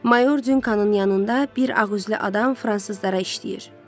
Mayor Dyukanın yanında bir ağüzlü adam fransızlara işləyir.